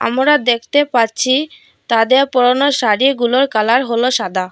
আমোরা দেখতে পারছি তাদের পরনের শাড়িগুলোর কালার হল সাদা।